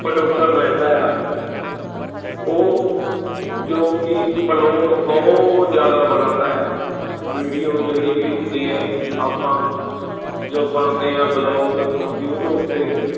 producer ਰਹਿੰਦਾ ਆ ਉਹ ਜੋ ਕਿ ਬਲੋਗ ਬਹੁਤ ਜ਼ਿਆਦਾ ਬਣਾਉਂਦਾ ਆ video ਜਿਹੜੀ ਵੀ ਹੁੰਦੀ ਹੈ ਆਪਾਂ ਜੋ ਪਾਉਂਦੇ ਹਾਂ ਬਲੋਗ ਯੂਟਿਊਬ ਤੇ